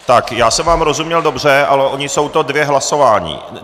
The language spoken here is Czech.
Tak, já jsem vám rozuměl dobře, ale ona to jsou dvě hlasování.